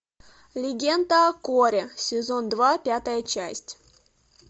легенда о корре сезон два пятая часть